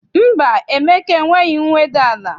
Mba, Emeka enweghị mweda n'ala.